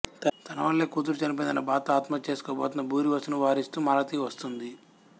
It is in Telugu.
తన వల్లే కూతురు చనిపోయిందన్న బాధతో ఆత్మహాత్య చేసుకోబోతున్న భూరివసును వారిస్తూ మాలతి వస్తుంది